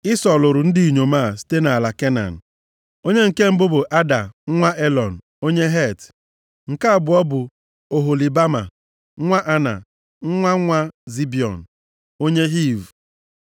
Ịsọ lụrụ ndị inyom a site nʼala Kenan. Onye nke mbụ bụ Ada nwa Elọn, onye Het. Nke abụọ bụ Oholibama, nwa Ana, nwa nwa Zibiọn, onye Hiv.